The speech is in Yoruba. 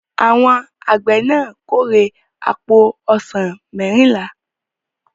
Àwọn àgbẹ̀ náà kórè àpò ọsàn mẹ́rìnlá.